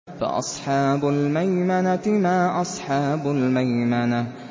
فَأَصْحَابُ الْمَيْمَنَةِ مَا أَصْحَابُ الْمَيْمَنَةِ